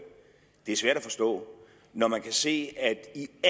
svært at forstå når man kan se at